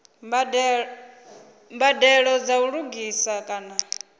mbadelo dza u lugisa kana